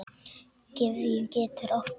Gefjun getur átt við